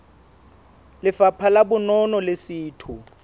lefapha la bonono le setho